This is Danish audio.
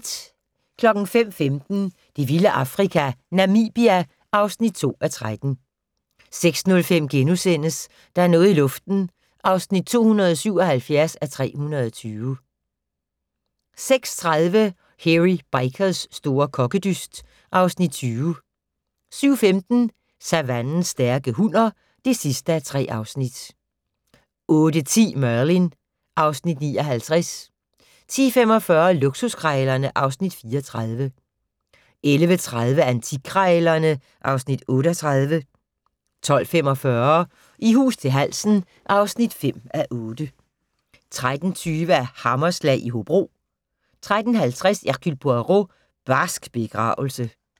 05:15: Det vilde Afrika - Namibia (2:13) 06:05: Der er noget i luften (277:320)* 06:30: Hairy Bikers' store kokkedyst (Afs. 20) 07:15: Savannens stærke hunner (3:3) 08:10: Merlin (Afs. 59) 10:45: Luksuskrejlerne (Afs. 34) 11:30: Antikkrejlerne (Afs. 38) 12:45: I hus til halsen (5:8) 13:20: Hammerslag i Hobro 13:50: Hercule Poirot: Barsk begravelse